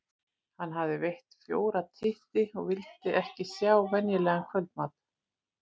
Hann hafði veitt fjóra titti og vildi ekki sjá venjulegan kvöldmat.